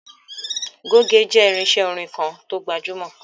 Goge jẹ́ irinṣé orin kan to gbajúmọ̀.